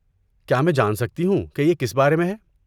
کیا میں جان سکتی ہوں کہ یہ کس بارے میں ہے؟